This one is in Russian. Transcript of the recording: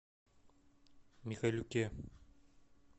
михайлюке